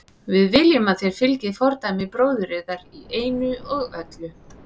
Við viljum að þér fylgið fordæmi bróður yðar í einu og öllu.